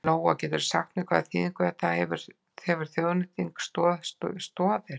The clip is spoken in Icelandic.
Lóa: Geturðu sagt mér hvaða þýðingu þetta hefur þessi þjóðnýting fyrir Stoð Stoðir?